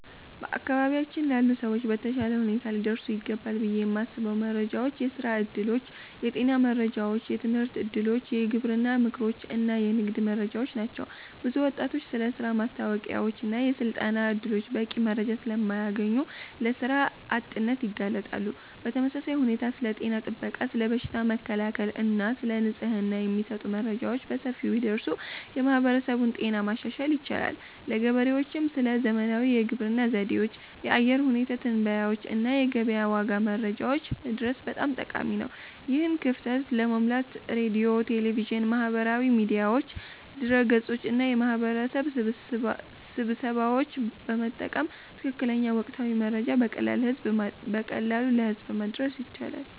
በአካባቢያችን ላሉ ሰዎች በተሻለ ሁኔታ ሊደርሱ ይገባሉ ብዬ የማስበው መረጃዎች የሥራ ዕድሎች፣ የጤና መረጃዎች፣ የትምህርት እድሎች፣ የግብርና ምክሮች እና የንግድ መረጃዎች ናቸው። ብዙ ወጣቶች ስለ ሥራ ማስታወቂያዎችና የሥልጠና ዕድሎች በቂ መረጃ ስለማያገኙ ለሥራ አጥነት ይጋለጣሉ። በተመሳሳይ ሁኔታ ስለ ጤና ጥበቃ፣ ስለ በሽታ መከላከል እና ስለ ንጽህና የሚሰጡ መረጃዎች በሰፊው ቢደርሱ የማህበረሰቡን ጤና ማሻሻል ይቻላል። ለገበሬዎችም ስለ ዘመናዊ የግብርና ዘዴዎች፣ የአየር ሁኔታ ትንበያዎች እና የገበያ ዋጋ መረጃዎች መድረስ በጣም ጠቃሚ ነው። ይህን ክፍተት ለመሙላት ሬዲዮ፣ ቴሌቪዥን፣ ማህበራዊ ሚዲያዎች፣ ድረ-ገጾች እና የማህበረሰብ ስብሰባዎችን በመጠቀም ትክክለኛና ወቅታዊ መረጃ በቀላሉ ለህዝብ ማድረስ ይቻላል